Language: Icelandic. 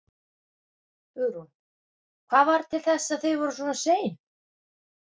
Hugrún: Hvað varð til þess að þið voruð svona sein?